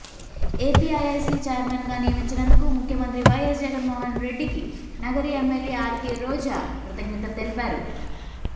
APIIC ఛైర్మన్గా నియమించినందుకు ముఖ్యమంత్రి వైఎస్ జగన్మోహన్రెడ్డికి నగరి ఎమ్మెల్యే ఆర్కే రోజా కృతజ్ఞతలు తెలిపారు